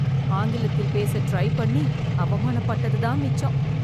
ஆங்கிலத்தில் பேச டிரை பண்ணி அவமான பட்டது தான் மிச்சம்.